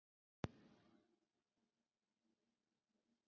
Með þennan leikmannahóp, af hverju ekki?